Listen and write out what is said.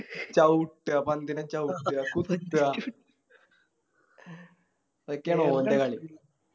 ചവിട്ടുവാ പന്തിനെ ചവിട്ടുവാ കുത്താ ഇതൊക്കെയാണ് ഓൻറെ കളി